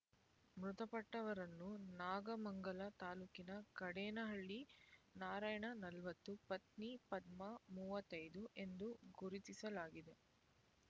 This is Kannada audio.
ಮೃತಪಟ್ಟವರನ್ನು ನಾಗಮಂಗಲ ತಾಲ್ಲೂಕಿನ ಕಾಡೇನಹಳ್ಳಿ ನಾರಾಯಣ ನಲವತ್ತು ಪತ್ನಿ ಪದ್ಮ ಮೂವತ್ತೈ ದು ಎಂದು ಗುರುತಿಸಲಾಗಿದೆ